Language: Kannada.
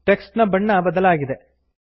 ಟೆಕ್ಸ್ಟ್ ನ ಬಣ್ಣ ಬದಲಾಗಿದೆ